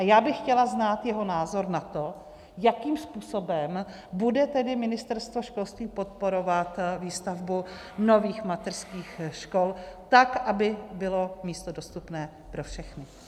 A já bych chtěla znát jeho názor na to, jakým způsobem bude tedy Ministerstvo školství podporovat výstavbu nových mateřských škol, tak aby bylo místo dostupné pro všechny.